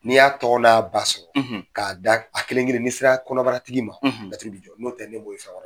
N'i y'a tɔgɔ n'a ba sɔrɔ. K'a da a kelenkelen ni sera kɔnɔbaratigi, laturu bi jɔ. N'o tɛ ne b'o ye